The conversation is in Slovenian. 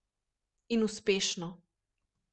In uspešno.